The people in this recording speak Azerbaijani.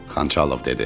Xançalov dedi.